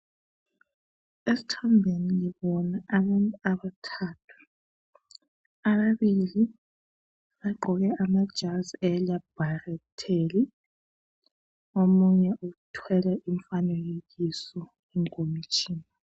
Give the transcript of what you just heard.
Isithombeni ngibona abantu abathathu. Ababili bagqoke amajazi elabharitheli omunye uthwele umfanekiso ekhomitshini.